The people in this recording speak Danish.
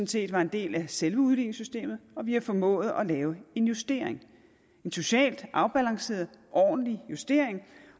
set var en del af selve udligningssystemet og vi har formået at lave en justering en socialt afbalanceret ordentlig justering